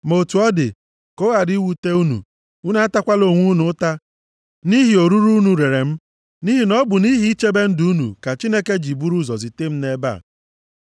Ma otu ọ dị, ka ọ ghara iwute unu, unu atakwala onwe unu ụta nʼihi orure unu rere m. Nʼihi na ọ bụ nʼihi ichebe ndụ unu ka Chineke ji buru ụzọ zite m nʼebe a.